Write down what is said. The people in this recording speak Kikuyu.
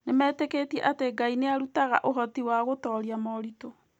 Nĩmetĩkĩtie atĩ Ngai nĩ arutaga ũhoti wa gũtooria moritũ.